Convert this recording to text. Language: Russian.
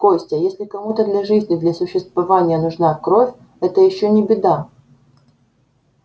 костя если кому-то для жизни для существования нужна кровь это ещё не беда